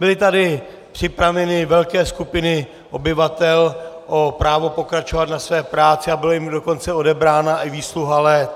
Byly tady připraveny velké skupiny obyvatel o právo pokračovat ve své práci a byla jim dokonce odebrána i výsluha let.